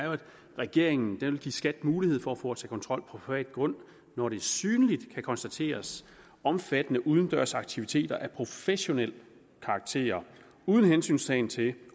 regeringen vil give skat mulighed for at foretage kontrol på privat grund når der synligt kan konstateres omfattende udendørs aktiviteter af professionel karakter uden hensyntagen til